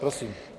Prosím.